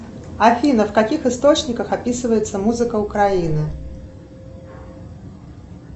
афина в каких источниках описывается музыка украины